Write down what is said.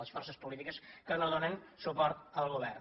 les forces politiques que no donen suport al govern